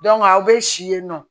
aw bɛ si yen nɔ